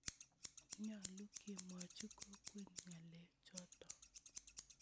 Nyalu kemwochi kokwet ng'alek chotok